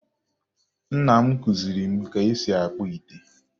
Nna m kụziri m ka e si akpụ ite